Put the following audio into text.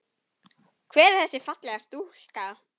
Hver er þessi fallega stúlka?